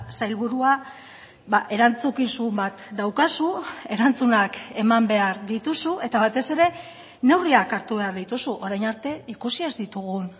sailburua erantzukizun bat daukazu erantzunak eman behar dituzu eta batez ere neurriak hartu behar dituzu orain arte ikusi ez ditugun